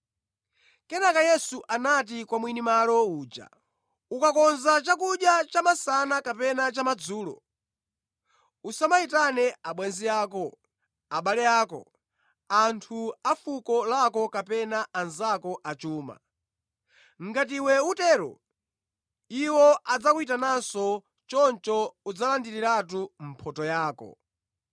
Kenaka Yesu anati kwa mwini malo uja, “Ukakonza chakudya chamasana kapena chamadzulo, usamayitane abwenzi ako, abale ako, anthu afuko lako kapena anzako achuma; ngati iwe utero, iwo adzakuyitananso, choncho udzalandiriratu mphotho yako.